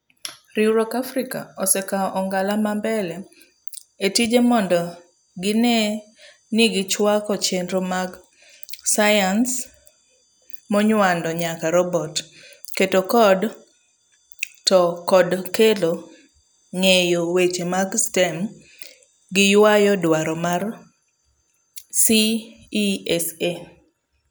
Riwruok Africa osee kao ong'ala ma mbele etije mondo gine nigi chwako chenro mag sciencemonywando nyako robot, keto code to kod kelo ng'eyo weche mag STEAM giyuayo dwaro mar CESA'